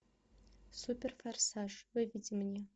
суперфорсаж выведи мне